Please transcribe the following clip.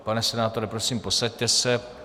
Pane senátore, prosím, posaďte se.